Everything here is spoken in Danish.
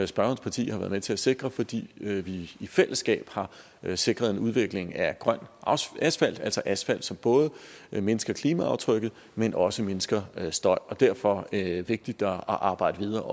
spørgerens parti har været med til at sikre fordi vi vi i fællesskab har har sikret en udvikling af grøn asfalt altså asfalt som både mindsker klimaaftrykket men også mindsker støj derfor er det også vigtigt at arbejde videre